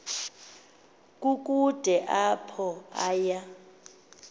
kukude apho aya